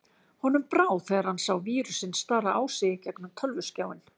Honum brá þegar hann sá vírusinn stara á sig í gegnum tölvuskjáinn.